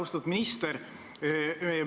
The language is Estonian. Austatud minister!